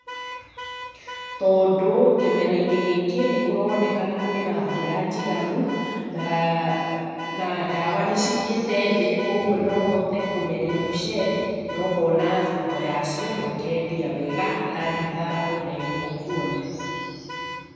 Tondũ kĩmera-inĩ gĩkĩ nĩ kũronekana kwĩ na mbura njiganu na ndawa nĩ cĩthiĩte thĩ, koguo no ũhote kũmeria mũcere na ũkona thoko yacio na ũkendia wega, hatarĩ hathara o na ĩmwe ũkuona.